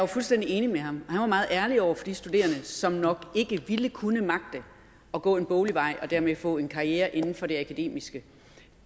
fuldstændig enig med ham han var meget ærlig over for de studerende som nok ikke ville kunne magte at gå en boglig vej og dermed få en karriere inden for det akademiske